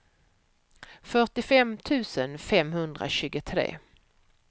fyrtiofem tusen femhundratjugotre